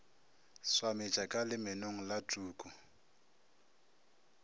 swametša ka lemenong la tuku